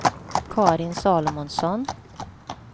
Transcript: Karin Salomonsson